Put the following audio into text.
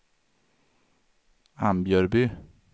Ambjörby